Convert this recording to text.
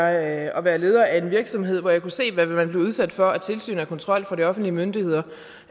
at at være leder af en virksomhed hvor jeg kunne se hvad man blev udsat for af tilsyn og kontrol fra de offentlige myndigheders